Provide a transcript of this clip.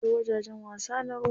Akwai wajajen wasa na ruwa.